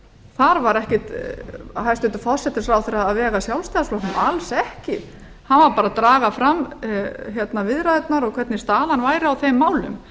þar var ekkert hæstvirts utanríkisráðherra að vega að sjálfstæðisflokknum alls ekki hann var bara að draga fram viðræðurnar hvernig staðan væri í þeim málum